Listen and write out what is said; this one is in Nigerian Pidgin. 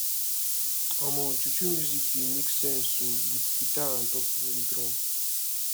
omo juju music dey make sense o wit guitar and talking drum